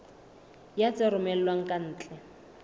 ya tse romellwang ka ntle